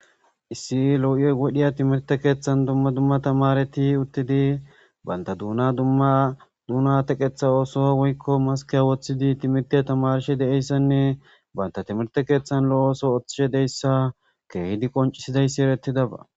issi loo7ioy wodhiya timirte keeththan dumma dumma tamareti uttidi banta duuna dumma duuna teqetha ooso woykko maskiya woththidi timirte tamarshi deeyssenne baynta timirte keeththan lo7ooso oththishedeyssa kehdi qoncisideyssi erettidaba